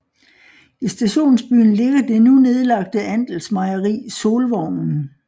I stationsbyen ligger det nu nedlagte andelsmejeri Solvognen